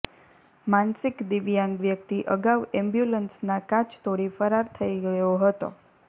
માનસિક દિવ્યાંગ વ્યક્તિ અગાઉ એમ્બ્યુલન્સના કાચ તોડી ફરાર થઇ ગયો હતો